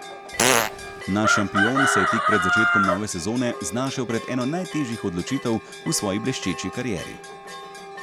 Naš šampion se je tik pred začetkom nove sezone znašel pred eno najtežjih odločitev v svoji bleščeči karieri.